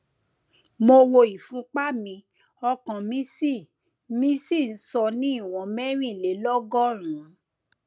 mo wo ìfúnpá mi ọkàn mi sì mi sì n sọ ní ìwọn mẹrìnlélọgọrùnún